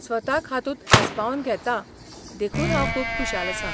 स्वताक हातूंत आस्पावन घेतां देखून हांव खूब खुशाल आसां.